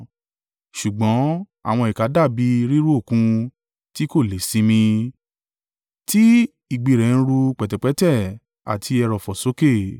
Ṣùgbọ́n àwọn ìkà dàbí i ríru Òkun tí kò le è sinmi, tí ìgbì rẹ̀ ń rú pẹ̀tẹ̀pẹ́tẹ̀ àti ẹrọ̀fọ̀ sókè.